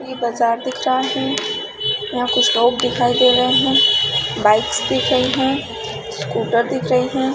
इ बाजार दिख रहा है यहाँ कुछ लोग दिखाई दे रहे है बाइक्स दिख रही है स्कूटर दिख रही हैं ।।